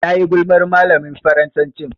Tayi gulmar malamin Faransacin.